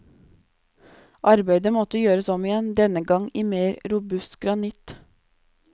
Arbeidet måtte gjøres om igjen, denne gang i mer robust granitt.